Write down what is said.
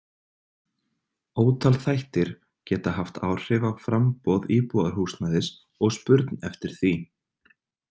Ótal þættir geta haft áhrif á framboð íbúðarhúsnæðis og spurn eftir því.